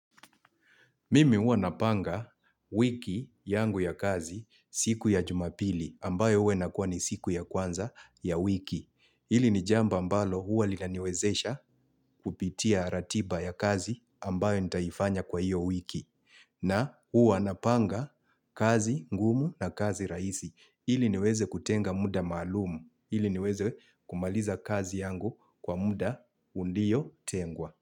Mimi huwa napanga wiki yangu ya kazi siku ya jumapili ambayo uwe nakuwa ni siku ya kwanza ya wiki. Hili ni jambo ambalo huwa lianiwezesha kupitia ratiba ya kazi ambayo nitaifanya kwa hiyo wiki. Na huwa napanga kazi ngumu na kazi raisi. Hili niweze kutenga mda maalumu. Hili niweze kumaliza kazi yangu kwa mda uliyo tengwa.